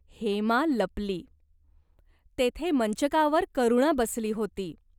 हेमा लपली. तेथे मंचकावर करुणा बसली होती.